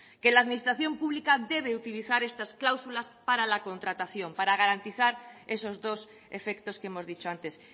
que la administración pública debe utilizar estas cláusulas para la contratación para garantizar esos dos efectos que hemos dicho antes